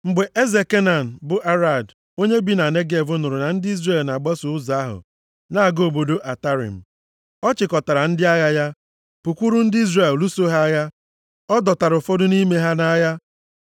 Mgbe eze Kenan, bụ Arad, onye bi na Negev nụrụ na ndị Izrel na-agbaso ụzọ ahụ na-aga obodo Atarim, ọ chịkọtara ndị agha ya, pụkwuru ndị Izrel, lụso ha agha. Ọ dọtara ụfọdụ nʼime ha nʼagha.